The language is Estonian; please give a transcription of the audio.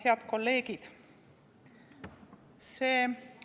Head kolleegid!